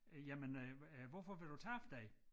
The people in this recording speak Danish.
Øh jamen øh øh hvorfor vil du tabe dig?